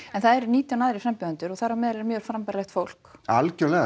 en það eru nítján aðrir frambjóðendur og þar á meðal er mjög frambærilegt fólk algjörlega